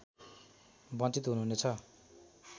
बञ्चित हुनु हुनेछ